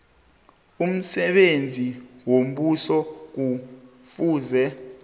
umsebenzi wombuso kufuze